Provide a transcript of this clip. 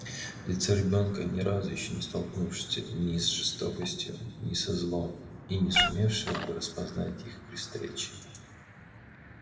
лицо ребёнка ни разу ещё не столкнувшееся ни с жестокостью ни со злом и не сумевшего бы распознать их при встрече